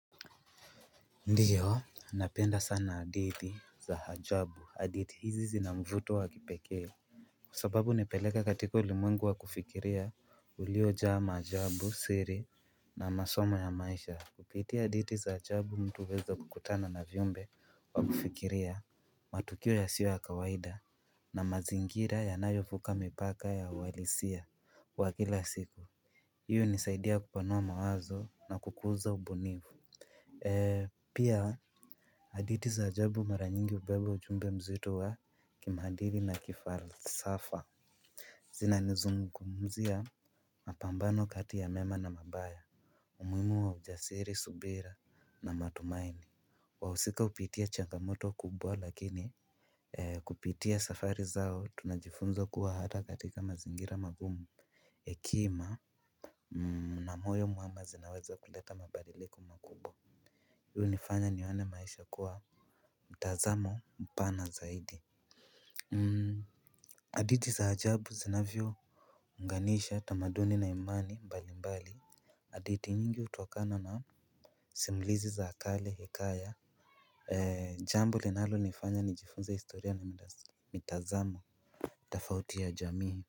Ndiyo, napenda sana hadithi za ajabu, hadithi hizi zina mvuto wa kipekee. Kwa sababu nipeleka katika ulimwengu wa kufikiria uliojaa maajabu siri na masomo ya maisha. Kupitia hadithi za ajabu mtu huweza kukutana na viumbe wa kufikiria matukio yasiyo ya kawaida. Na mazingira yanayovuka mipaka ya uhalisia wa kila siku hiyo hunisaidia kupanua mawazo na kukuza ubunifu. Pia hadithi za ajabu mara nyingi hubeba ujumbe mzito wa kimaadili na kifalsafa. Zinanizungumzia mapambano kati ya mema na mabaya umuhimu wa ujasiri subira na matumaini. Wahusika hupitia changamoto kubwa lakini kupitia safari zao tunajifunza kuwa hata katika mazingira magumu. Hekima na moyo mwema zinaweza kuleta mabadiliko makubwa. Huu nifanya nione maisha kuwa mtazamo mpana zaidi hadithi za ajabu zinavyounganisha tamaduni na imani mbalimbali hadithi nyingi hutokana na simulizi za kale hekaya jambo linalonifanya nijifunze historia na mitazamo. Tafauti ya jamii.